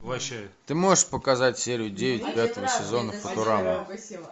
ты можешь показать серию девять пятого сезона футурама